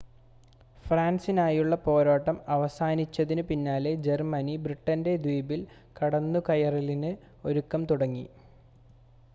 ഫ്രാൻസിനായുള്ള പോരാട്ടം അവസാനിച്ചതിനു പിന്നാലെ ജർമ്മനി ബ്രിട്ടൻ്റെ ദ്വീപിൽ കടന്നുകയറലിന് ഒരുക്കം തുടങ്ങി